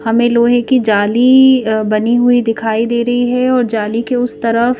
हमें लोहे की जाली बनी हुई दिखाई दे रही है और जाली के उस तरफ--